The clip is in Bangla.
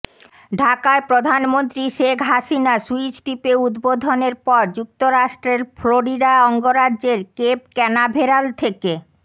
ঢাকায় প্রধানমন্ত্রী শেখ হাসিনা সুইচ টিপে উদ্বোধনের পর যুক্তরাষ্ট্রের ফ্লোরিডা অঙ্গরাজ্যের কেপ ক্যানাভেরাল থেকে